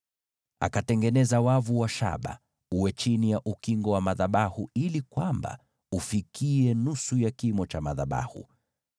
Akatengeneza wavu wa shaba chini ya ukingo wa madhabahu ili ufikie nusu ya kimo cha madhabahu.